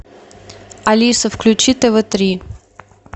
алиса включи тв три